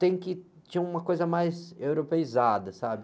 Tem que, tinha uma coisa mais europeizada, sabe?